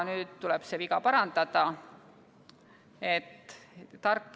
Nüüd tuleb see viga parandada.